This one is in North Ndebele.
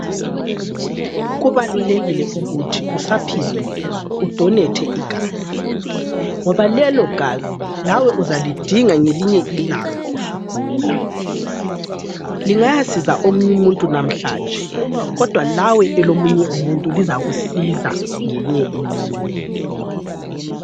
Kubalulekile ukuthi usaphilile udonethe igazi ngoba lelo gazi lawe uzalidinga ngelinye ilanga usugula. Lingayasiza omunye umuntu namhlanje kodwa lawe elomunye umuntu lizakusiza ngeyinye imini.